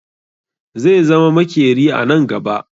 Zai zama makeri a nan gaba